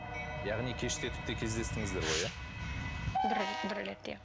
яғни кештетіп те кездестіңіздер ғой иә бір бір рет иә